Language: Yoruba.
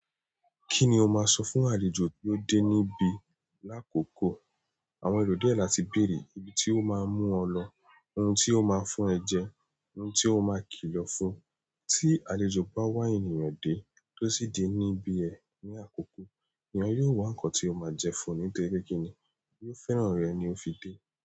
Kí ni o máa sọ fún àlejò pe ó dé ní bi? Láàkókò, àwọn èrò diẹ làti béèrè ibi tí ó máa mú ọ lọ, oun tí ó máa fún ẹ jẹ, oun tí ó máa kìlọ̀ fún. Tí àlejò bá wá ènìyàn dé, tó sì dé ní bí e ní àkókò, èèyàn yóò wá nǹkan tí ó máa jẹ fún un. Nítorí kí ni, ó fẹ́ràn rẹ̀ ni ó fi dé.